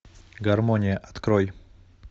гармония открой